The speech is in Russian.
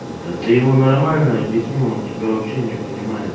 да ты ему нормально объяснил он тебя вообще не понимает